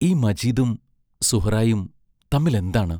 ഈ മജീദും സുഹ്റായും തമ്മിലെന്താണ്?